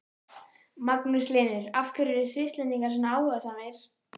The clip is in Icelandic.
Magnús Hlynur: Af hverju eru Svisslendingar svona áhugasamir?